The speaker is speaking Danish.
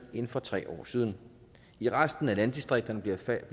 nu end for tre år siden i resten af landdistrikterne bliver der